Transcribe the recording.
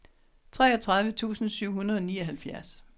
treogtredive tusind syv hundrede og nioghalvfjerds